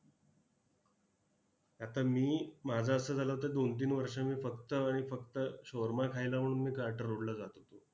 आता मी माझं असं झालं होतं दोन तीन वर्ष मी फक्त आणि फक्त shawarama खायला म्हणून मी carter road ला जात होतो.